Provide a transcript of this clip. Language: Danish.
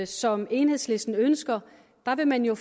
som enhedslisten ønsker der vil man jo